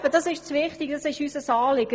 Das ist unser Anliegen.